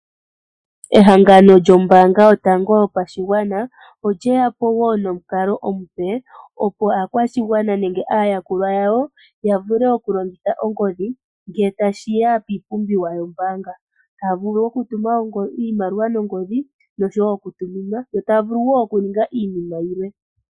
Ehangano lyombaanga yotango yopashigwana olyeyapo nomukalo omupe opo aakwashigwana nenge aayakulwa yawo yavule oku longitha ongodhi ngele tashiya kiipumbiwa yombaanga ,taya vulu oku tuma iimaliwa nongodhi noshowo oku tuminwa ,yo taya vulu woo okuninga iinima yilwe.